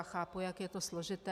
Já chápu, jak je to složité.